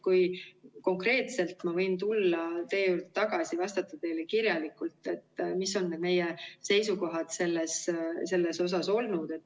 Kui tulla konkreetselt teie küsimuse juurde tagasi, siis ma võin vastata teile kirjalikult, mis on need meie seisukohad olnud.